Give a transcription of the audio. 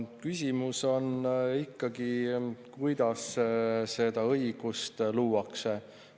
Küsimus on ikkagi sellest, kuidas seda õigust luuakse.